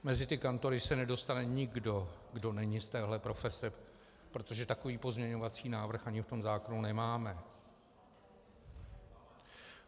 Mezi ty kantory se nedostane nikdo, kdo není z této profese, protože takový pozměňovací návrh ani v tom zákonu nemáme.